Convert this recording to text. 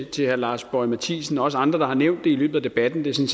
til herre lars boje mathiesen og andre der har nævnt det i løbet af debatten det